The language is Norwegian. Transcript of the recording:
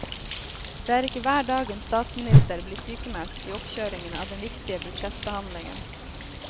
Det er ikke hver dag en statsminister blir sykmeldt i oppkjøringen av den viktige budsjettbehandlingen.